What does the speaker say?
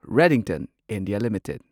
Redington India limited